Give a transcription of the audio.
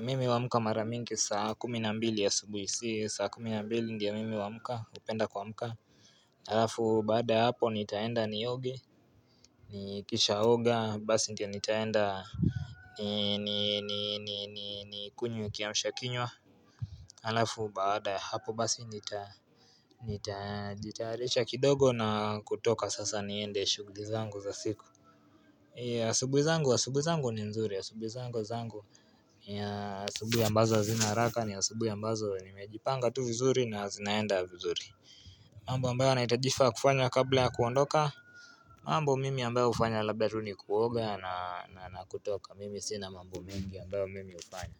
Mimi huamka mara mingi saa kumi na mbili asubuhi si saa kumi na mbili ndio mimi hupenda kuamka alafu baada ya hapo nitaenda nioge Nikishaoga basi ndio nitaenda Nikunywe kiamsha kinywa Alafu baada ya hapo basi nitajitayarisha kidogo na kutoka sasa niende shughuli zangu za siku asubuhi zangu ni nzuri asubuhi zangu ni asubuhi ambazo hazina haraka ni asubuhi ambazo nimejipanga tu vizuri na zinaenda vizuri mambo ambayo nahitaji kufaa kufanya kabla ya kuondoka mambo mimi ambayo hufanya labda tu nikuoga na nakutoka mimi sina mambo mengi ambayo mimi hufanya.